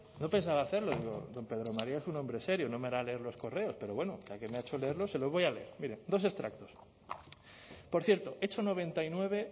no pensaba hacerlo digo don pedro maría es un hombre serio no me hará leer los correos pero bueno ya que me ha hecho leerlos se los voy a leer mire dos extractos por cierto hecho noventa y nueve